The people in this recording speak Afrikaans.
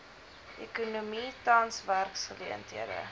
ekonomie tans werksgeleenthede